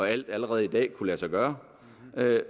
alt allerede i dag kunne lade sig gøre